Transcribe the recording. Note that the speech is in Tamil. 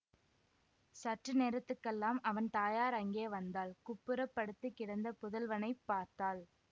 சற்று நேரத்துக்கெல்லாம் அவன் தாயார் அங்கே வந்தாள் குப்புறப் படுத்து கிடந்த புதல்வனைப் பார்த்தாள்